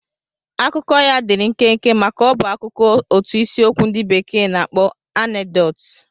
Akụkọ ya dịịrị nkenke maka ọ bụ akụkọ otu isiokwu ndị bekee na-akpọ anekdot.